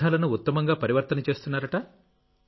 వ్యర్థాలను ఉత్తమంగా పరివర్తన చేస్తున్నారు